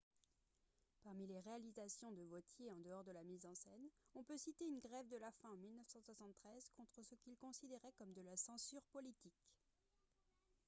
parmi les réalisations de vautier en dehors de la mise en scène on peut citer une grève de la faim en 1973 contre ce qu'il considérait comme de la censure politique